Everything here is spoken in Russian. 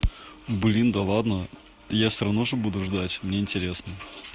блин да ладно я всё равно же буду ждать мне интересно